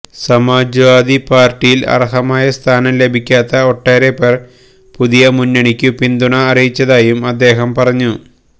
സമാജ്വാദി പാർട്ടിയിൽ അർഹമായ സ്ഥാനം ലഭിക്കാത്ത ഒട്ടേറെപ്പേർ പുതിയ മുന്നണിക്കു പിന്തുണ അറിയിച്ചതായും അദ്ദേഹം പറഞ്ഞു